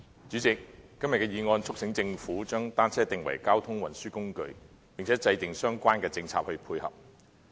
主席，今天的議案促請政府將單車定為交通運輸工具，並制訂相關的政策配合。